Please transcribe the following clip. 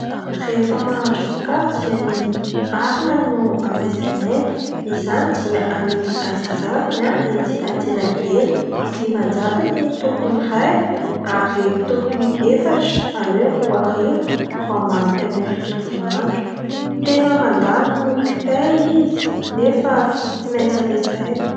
Rehefa mahandro sakafo dia ny arina no ampiasainay izany dia amidy antsinjarany ety an-tsenakely, dimanjato ny tokony ny iray ary tokony efatra izany hoe roa arivo fa mampy anay tontolo andro. Tena mandany noho ny kitay izy nefa tsy maintsy ampiasaina.